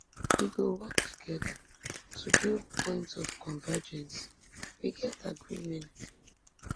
we go work togeda to build points of convergence we get agreement